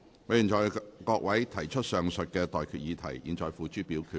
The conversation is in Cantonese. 我現在向各位提出上述待決議題，付諸表決。